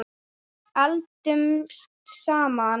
Eldumst saman.